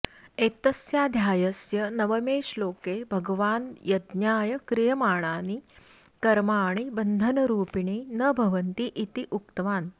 एतस्याध्यायस्य नवमे श्लोके भगवान् यज्ञाय क्रियमाणानि कर्माणि बन्धनरूपिणी न भवन्ति इति उक्तवान्